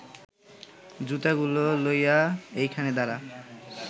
জুতাগুলা লইয়া এইখানে দাঁড়া